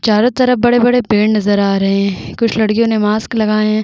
चारों तरफ बड़े-बड़े पेड़ नज़र आ रहे है कुछ लड़कियो ने मास्क लगाए है।